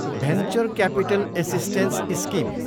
venture capital assistance scheme